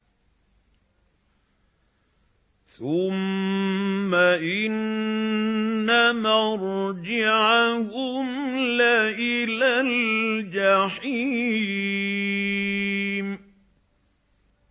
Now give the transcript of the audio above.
ثُمَّ إِنَّ مَرْجِعَهُمْ لَإِلَى الْجَحِيمِ